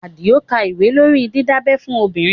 Àdìó ka ìwé lórí didabẹ́ fún obìnrin